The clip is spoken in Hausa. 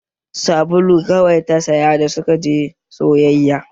Sabulu kawai ta saya da suka je sayayya